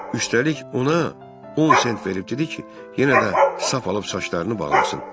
Üstəlik, ona 10 sent verib dedi ki, yenə də sap alıb saçlarını bağlasın.